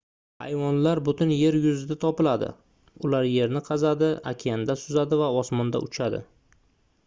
hayvonlar butun yer yuzida topiladi ular yerni qazadi okeanda suzadi va osmonda uchadi